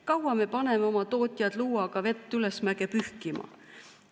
Kui kaua me paneme oma tootjad luuaga vett ülesmäge pühkima?